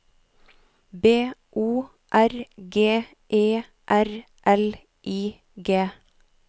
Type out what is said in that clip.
B O R G E R L I G